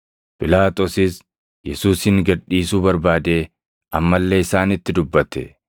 Phiilaaxoosis Yesuusin gad dhiisuu barbaadee amma illee isaanitti dubbate.